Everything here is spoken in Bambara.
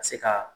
Ka se ka